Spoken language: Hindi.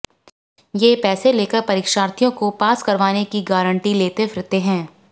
ये पैसे ले कर परीक्षार्थियों को पास करवाने की गारंटी लेते फिरते हैं